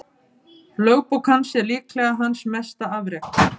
Lögbók hans er líklega hans mesta afrek.